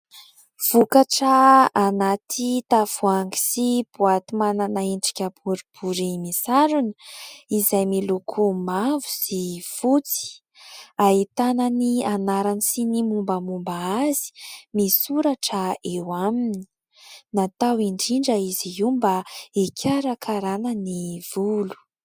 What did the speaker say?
Vokatra anaty tavoahangy sy boaty manana endrika boribory misarona : izay miloko mavo sy fotsy ahitana ny anarany sy ny mombamomba azy, misy soratra eo aminy natao indrindra izy io mba hikarakarana ny volo.